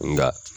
Nka